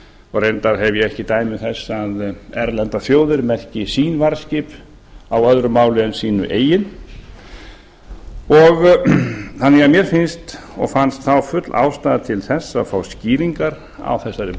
og reyndar hef ég ekki dæmi þess að erlendar þjóðir merki sín varðskip á öðru máli en sínu eigin þannig að mér finnst og fannst þá full ástæða til þess að fá skýringar á þessari